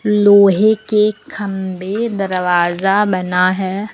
लोहे के खंभे दरवाजा बना है।